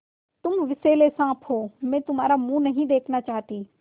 तुम विषैले साँप हो मैं तुम्हारा मुँह नहीं देखना चाहती